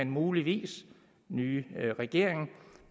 mulige nye regering